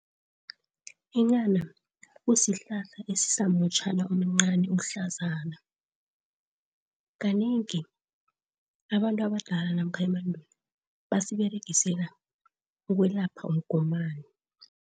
Inghana kusihlahla esisamutjhana omncani ohlazana. Kanengi abantu abadala namkha emandulo basiberegisela ukwelapha umgomani.